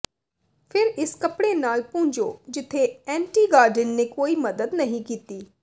ਫਿਰ ਇਸ ਕੱਪੜੇ ਨਾਲ ਪੂੰਝੋ ਜਿੱਥੇ ਐਂਟੀਗਾਡਿਨ ਨੇ ਕੋਈ ਮਦਦ ਨਹੀਂ ਕੀਤੀ